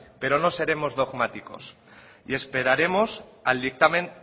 pero no seremos dogmáticos y esperaremos al dictamen